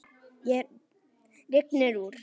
Rignir úr.